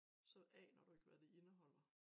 Så aner du ikke hvad det indeholder